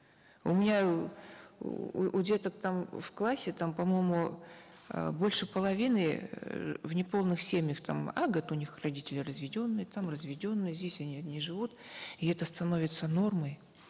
у меня у деток там в классе там по моему э больше половины э в неполных семьях там а у них родители разведенные там разведенные здесь они не живут и это становится нормой